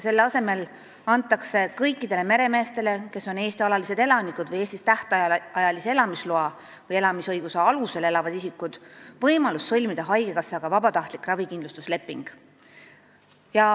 Selle asemel antakse kõikidele meremeestele, kes on Eesti alalised elanikud või Eestis tähtajalise elamisloa või elamisõiguse alusel elavad isikud, võimalus sõlmida haigekassaga vabatahtlik ravikindlustusleping.